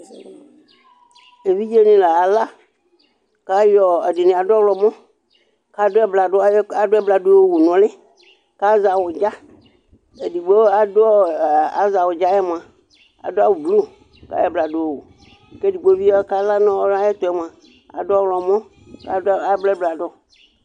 Evidze nɩ la aya la; ɛdɩnɩ adʋ ɔɣlɔmɔ ,ayɔ ɛbladʊ yɔ wu nʋ ʋlɩ,kʋ azɛ awʋdzaƐɖɩɛ azɛ awʋdza yɛ mʋa, ta dʋ awʋ blu, kʋ edigbo bɩ kala nayɛtʋ mʋa adʋ ɔɣlɔmɔ kʋ abla ɛbladʋ